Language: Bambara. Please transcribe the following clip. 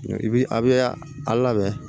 I bi a bɛ a labɛn